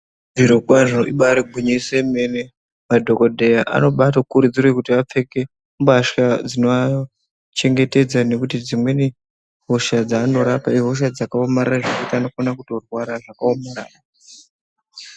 Zviro kwazvo ibari gwinyiso remene madhokodheya anobada kurudziro yekupfeka mbahla dzinoachengetedza nekuti dzimweni hosha dzaanorapa ihosha dzakaomarara vanokona kutorwara zvakaomarara.